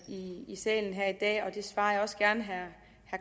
i salen her i dag og det svarer jeg også gerne herre